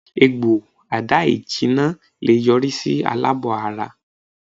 Egbo ada-ijina le yori si alabo-ara